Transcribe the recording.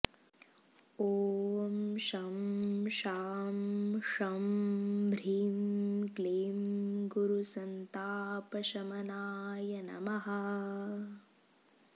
ॐ शं शां षं ह्रीं क्लीं गुरुसन्तापशमनाय नमः